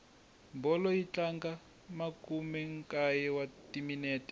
bolo yi tlanga makumenkaye wa timinete